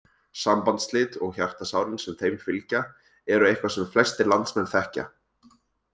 Sambandsslit og hjartasárin sem þeim fylgja eru eitthvað sem flestir landsmenn þekkja.